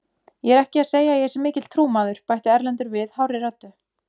Ég er ekki að segja að ég sé mikill trúmaður, bætti Erlendur við hárri röddu.